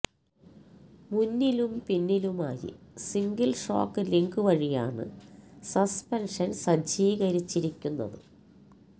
മുന്നിലും പിന്നിലുമായി single shock link വഴിയാണ് സസ്പെൻഷൻ സജ്ജീകരിച്ചിരിക്കുന്നത്